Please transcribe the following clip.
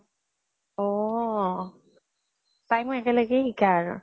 অʼ অ । তাই মই একেলগে শিকা আৰু